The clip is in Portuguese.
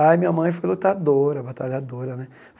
Aí, minha mãe foi lutadora, batalhadora, né?